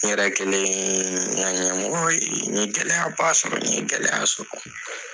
N yɛrɛ kɛlen n ka ɲɛmɔgɔ ye n ye gɛlɛyaba sɔrɔ n ye gɛlɛya sɔrɔ .